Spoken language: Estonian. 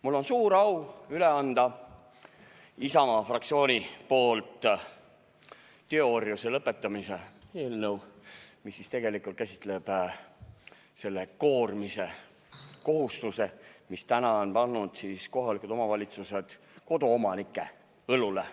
Mul on suur au Isamaa fraktsiooni nimel üle anda teoorjuse lõpetamise eelnõu, mis käsitleb selle koormise või kohustuse eemaldamist, mille on kohalikud omavalitsused pannud koduomanike õlule.